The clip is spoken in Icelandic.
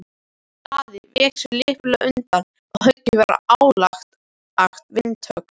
Daði vék sér lipurlega undan og höggið varð hlálegt vindhögg.